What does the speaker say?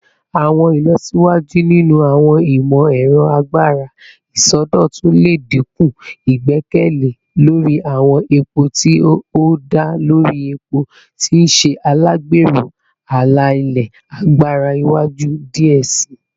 Awọn ilọsiwaju ninu awọn imọ-ẹrọ agbara isọdọtun le dinku igbẹkẹle lori awọn epo ti o da lori epo, ti n ṣe alagbero ala-ilẹ agbara iwaju diẹ sii.